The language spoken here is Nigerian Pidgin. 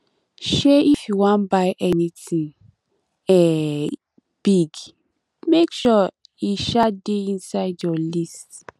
um if you wan buy anytin um big make sure e um dey inside your list